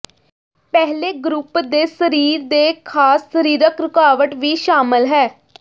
ਪਹਿਲੇ ਗਰੁੱਪ ਦੇ ਸਰੀਰ ਦੇ ਖਾਸ ਸਰੀਰਕ ਰੁਕਾਵਟ ਵੀ ਸ਼ਾਮਲ ਹੈ